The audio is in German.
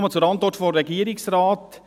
Ich komme zur Antwort des Regierungsrates.